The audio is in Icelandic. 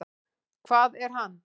Hvað er hann?